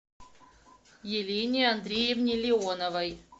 елене андреевне леоновой